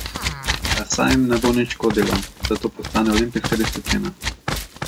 A saj jim ne bo nič škodilo, da to postane olimpijska disciplina.